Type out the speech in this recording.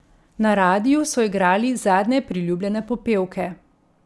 Na radiu so igrali zadnje priljubljene popevke.